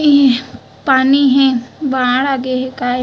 इ पानी हे बाढ़ आगे हे काय--